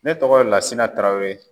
Ne tɔgɔ ye Lasina Tarawele.